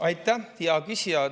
Aitäh, hea küsija!